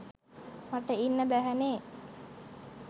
මට ඉන්න බැහැනෙ.